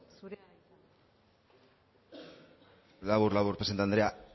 labur labur presidente andrea